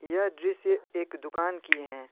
यह दृश्य एक दुकान की हैं।